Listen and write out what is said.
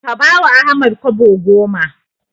Ka bawa Ahmad Kobo goma.